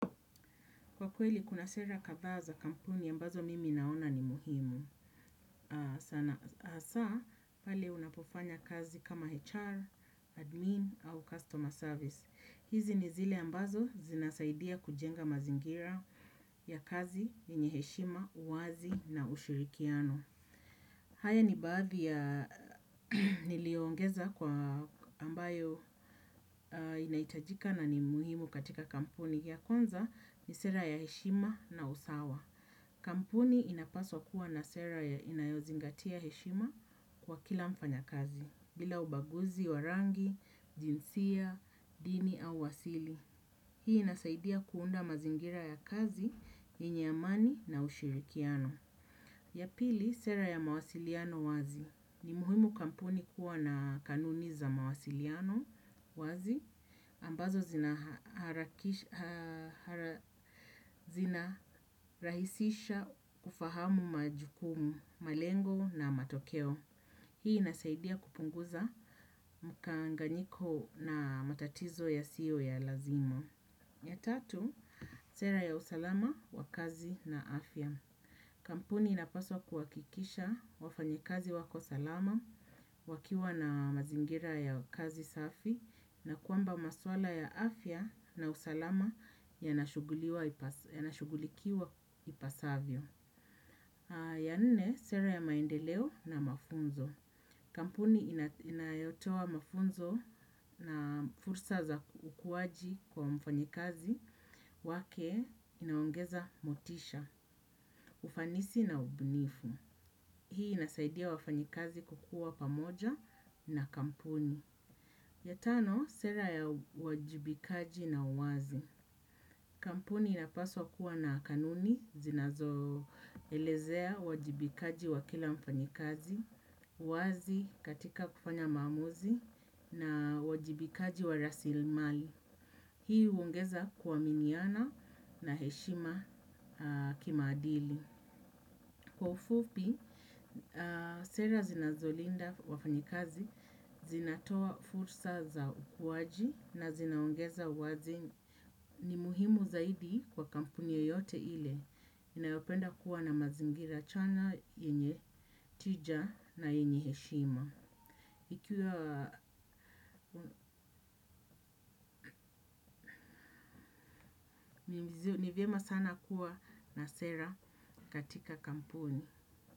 Kwa kweli kuna sera kadha za kampuni ambazo mimi naona ni muhimu. Hasaa, pale unapofanya kazi kama HR, admin au customer service. Hizi ni zile ambazo zinasaidia kujenga mazingira ya kazi, yenye heshima, uwazi na ushirikiano. Haya ni baadhi ya niliyoongeza kwa ambayo inahitajika nani muhimu katika kampuni. Ya kwanza, ni sera ya heshima na usawa. Kampuni inapaswa kuwa na sera ya inayozingatiya heshima, kwa kila mfanya kazi, bila ubaguzi wa rangi, jinsia, dini au asili. Hii inasaidia kuunda mazingira ya kazi, yenye amani na ushirikiano. Ya pili, sera ya mawasiliano wazi. Ni muhimu kampuni kuwa na kanuni za mawasiliano wazi. Ambazo zinarahisisha kufahamu majukumu, malengo na matokeo. Hii inasaidia kupunguza, mkanganyiko na matatizo yasiyo ya lazima. Ya tatu, sera ya usalama wa kazi, na afya. Kampuni inapaswa kuwakikisha wafanyikazi wako salama, wakiwa na mazingira ya kazi safi, na kwamba maswala ya afya na usalama yanashugulikiwa ipasavyo. Ya nne, sera ya maendeleo na mafunzo. Kampuni inayotoa mafunzo na fursa za ukuwaji kwa mfanyikazi wake, inaongeza motisha, ufanisi na ubunifu. Hii inasaidia wafanyikazi kukuwa pamoja na kampuni. Yatano, sera ya uwajibikaji na uwazi. Kampuni inapaswa kuwa na kanuni, zinazoelezea uwajibikaji wa kila mfanyikazi, uwazi katika kufanya maamuzi na uwajibikaji wa rasilmali. Hii huongeza, kuwaminiana na heshima kimaadili. Kwa ufupi, sera zinazolinda wafanyikazi, zinatoa fursa za ukuwaji na zinaongeza uwazi, ni muhimu zaidi kwa kampuni ya yoyote ile inayopenda kuwa na mazingira chanya yenye tija na yenye heshima. Ikiwa ni vyema sana kuwa na sera, katika kampuni.